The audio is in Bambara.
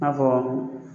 I n'a fɔ